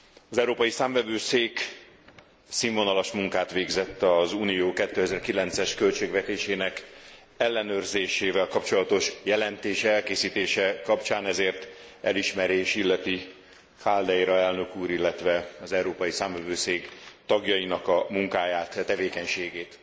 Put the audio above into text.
Az Európai Számvevőszék színvonalas munkát végzett az Unió 2009 es költségvetésének ellenőrzésével kapcsolatos jelentésének elkészítése kapcsán, ezért elismerés illeti Caldeira elnök úr, illetve az Európai Számvevőszék tagjainak a munkáját, tevékenységét.